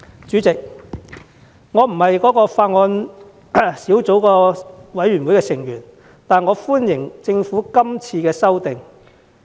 主席，我並非法案委員會的委員，但我歡迎政府今次的修訂。